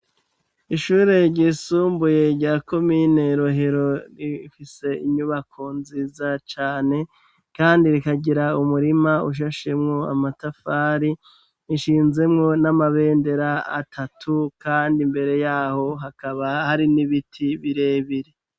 Ishure ryisumbuye ryako miy'inerohero rifise inyubako nziza cane, kandi rikagira umurima ushashemwo amatafari ishinzemwo n'amabendera atatu, kandi imbere yaho hakaba hari n'ibiti birebire.